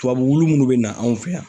Tubabu munnu be na anw fɛ yan